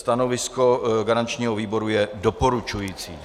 Stanovisko garančního výboru je doporučující.